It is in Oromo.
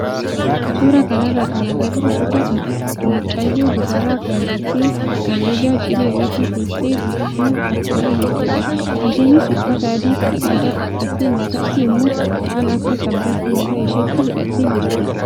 Suuraa kanarraa kan agarru suuraa mucaa dubaraa kan teessee maandajaa cilee irratti teessee buna akaayaa jirtudha. Isheenis uffata adii kan aadaa uffattee mataatti immoo waan akka sabbataa mataa isheetti hidhattee jirti.